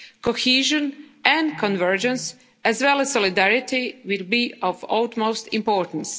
cohesion, convergence as well as solidarity will be of utmost importance.